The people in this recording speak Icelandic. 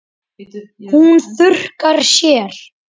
Hún þurrkar sér.